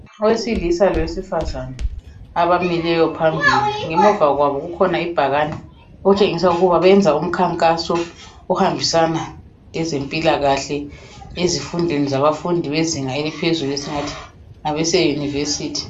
Owesilisa lowesifazana abamileyo phambili. Ngemuva kwabo kukhona ibhakane okutshengisa ukuba benza umkhankaso ohambisana lezempilakahle ezifundweni zabafundi bezinga laphezulu esingathi ngabase university.